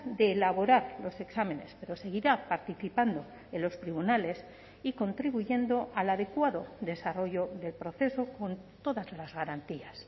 de elaborar los exámenes pero seguirá participando en los tribunales y contribuyendo al adecuado desarrollo del proceso con todas las garantías